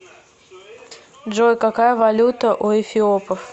джой какая валюта у эфиопов